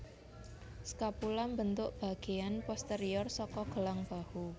Scapula mbentuk bagéan posterior saka gelang bahu